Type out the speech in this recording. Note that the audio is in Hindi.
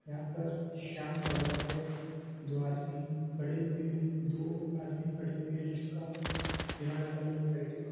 यहाँ पर शाम का वक्त है दो आदमी खड़े हुए हैं दो आदमी खड़े हुए हैं जिसका जिन्होंने अलग-अलग तरह के कप --